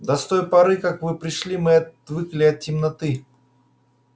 да с той поры как вы пришли мы отвыкли от темноты